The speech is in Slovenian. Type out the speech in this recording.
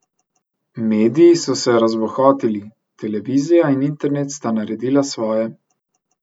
Mediji so se razbohotili, televizija in internet sta naredila svoje.